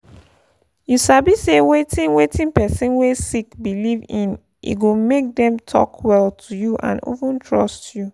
you sabi say wetin wetin person wey sick believe in e go make them talk well to you and even trust you.